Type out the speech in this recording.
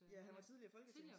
Ja han var tidligere folketings